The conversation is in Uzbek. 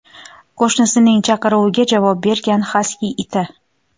Qo‘shnisining chaqiruviga javob bergan xaski iti.